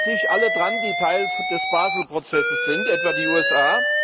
Halten sich alle daran, die Teil des Basel Prozesses sind, etwa die USA?